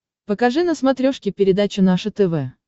покажи на смотрешке передачу наше тв